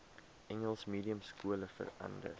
engels mediumskole verander